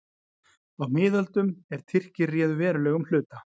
Á miðöldum, er Tyrkir réðu verulegum hluta